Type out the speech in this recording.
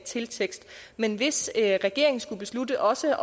til tekster men hvis regeringen skulle beslutte også